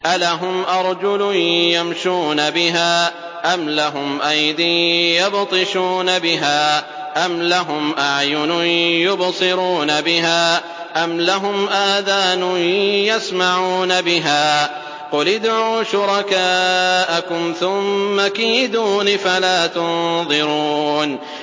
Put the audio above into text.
أَلَهُمْ أَرْجُلٌ يَمْشُونَ بِهَا ۖ أَمْ لَهُمْ أَيْدٍ يَبْطِشُونَ بِهَا ۖ أَمْ لَهُمْ أَعْيُنٌ يُبْصِرُونَ بِهَا ۖ أَمْ لَهُمْ آذَانٌ يَسْمَعُونَ بِهَا ۗ قُلِ ادْعُوا شُرَكَاءَكُمْ ثُمَّ كِيدُونِ فَلَا تُنظِرُونِ